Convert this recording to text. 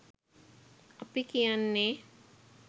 අපි කියන්නෙ.